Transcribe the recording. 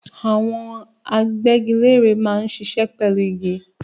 Àwọn agbẹ́giléèrè máa ń ṣiṣẹ́ pẹ̀lú igi.